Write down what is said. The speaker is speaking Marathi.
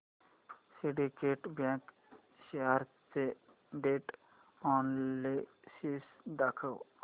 सिंडीकेट बँक शेअर्स चे ट्रेंड अनॅलिसिस दाखव